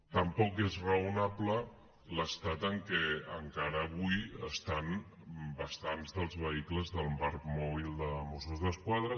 tampoc és raonable l’estat en què encara avui estan bastants dels vehicles del parc mòbil de mossos d’esquadra